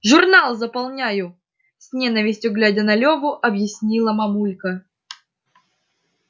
журнал заполняю с ненавистью глядя на лёву объяснила мамулька